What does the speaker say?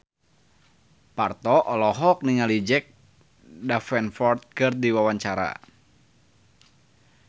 Parto olohok ningali Jack Davenport keur diwawancara